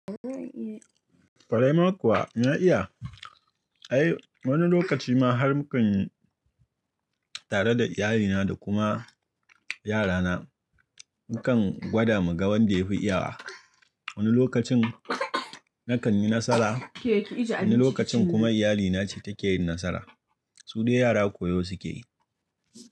Ƙwaraima kuwa na iya. Ai wani lokaci ma har mukanyi tare da iyalina da kuma yarana mukan gwada mu ga wanda ya fi iyawa. Wani lokacin nakan yi nasara, wani lokacin kuma iyalina ce take yin nasara. Su dai yara koyo suke yi.